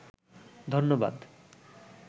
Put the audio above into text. ধন্যবাদ